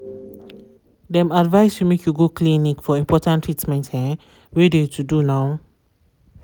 dem advise you make you go clinic for important treatment um wey de to do now.